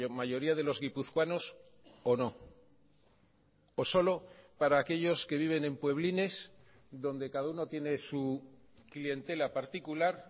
mayoría de los guipuzcoanos o no o solo para aquellos que viven en pueblines donde cada uno tiene su clientela particular